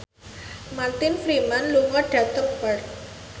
Martin Freeman lunga dhateng Perth